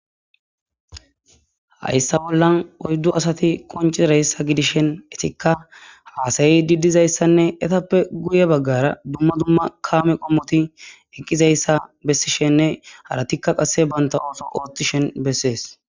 hayssa bollan oyddu asati konci reyssa gidishen etikka haasayi diddizayssanne etappe guye baggara dumma dumma kaame qommoti eqqizayssa bessi shenne haratikka qasse banta ooso ooththi shen bessees